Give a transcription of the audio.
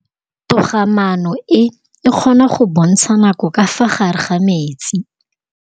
Toga-maanô e, e kgona go bontsha nakô ka fa gare ga metsi.